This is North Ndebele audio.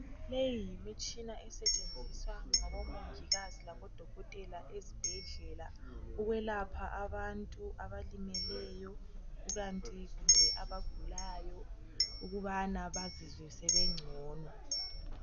Leyi yimitshina esetshenziswa ngabomongikazi labodokotela ezibhedlela ukwelapha abantu abalimeleyo kukanti kumbe abagulayo ukubana bazizwe sebengcono.